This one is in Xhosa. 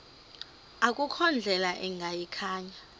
akukho ndlela ingayikhaya